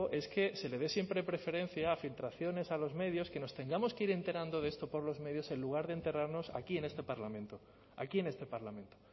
es que se le dé siempre preferencia a filtraciones a los medios que nos tengamos que ir enterando de esto por los medios en lugar de enterarnos aquí en este parlamento